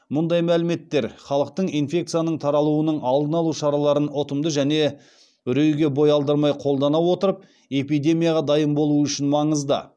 мұндай мәліметтер халықтың инфекцияның таралуының алдын алу шараларын ұтымды және үрейге бой алдырмай қолдана отырып эпидемияға дайын болуы үшін маңызды